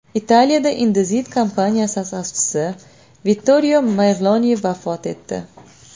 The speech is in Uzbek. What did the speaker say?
Italiyada Indesit kompaniyasi asoschisi Vittorio Merloni vafot etdi.